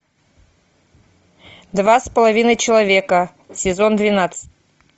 два с половиной человека сезон двенадцать